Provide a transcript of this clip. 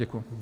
Děkuji.